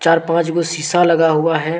चार पांच वो सीसा लगा हुआ है।